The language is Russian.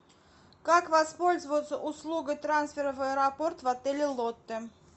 как воспользоваться услугой трансфера в аэропорт в отеле лотте